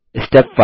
step 5